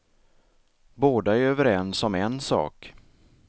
Båda är överens om en sak.